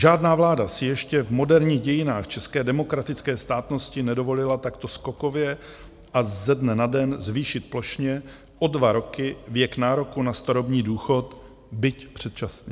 Žádná vláda si ještě v moderních dějinách české demokratické státnosti nedovolila takto skokově a ze dne na den zvýšit plošně o dva roky věk nároku na starobní důchod, byť předčasný.